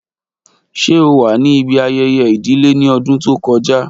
ṣe o wa ni ibi ayẹyẹ idile ni ọdun to kọja?